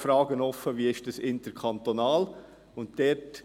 Die Frage ist offen, wie das interkantonal ist.